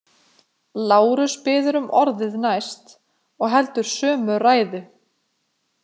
Lárus biður um orðið næst og heldur sömu ræðu.